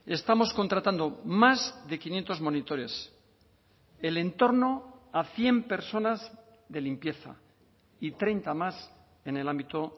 estamos contratando más de quinientos monitores el entorno a cien personas de limpieza y treinta más en el ámbito